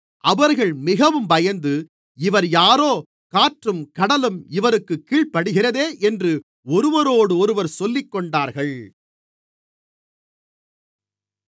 அவர்கள் மிகவும் பயந்து இவர் யாரோ காற்றும் கடலும் இவருக்குக் கீழ்ப்படிகிறதே என்று ஒருவரோடொருவர் சொல்லிக்கொண்டார்கள்